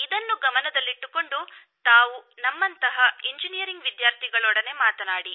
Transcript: ಇದನ್ನು ಗಮನದಲ್ಲಿಟ್ಟುಕೊಂಡು ತಾವು ನಮ್ಮಂತಹ ಇಂಜಿನಿಯರಿಂಗ್ ವಿದ್ಯಾರ್ಥಿಗಳೊಡನೆ ಮಾತನಾಡಿ